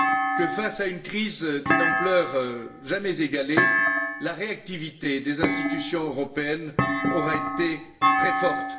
que, face à une crise d'une ampleur jamais égalée, la réactivité des institutions européennes aura été très forte.